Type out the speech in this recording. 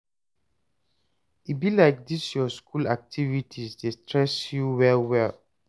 e be like dis your school activities dey stress you well well